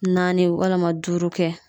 Naani walima duuru kɛ.